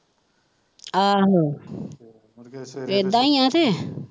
ਆਹੋ ਇਦਾਂ ਹੀ ਹੈ ਕਿ।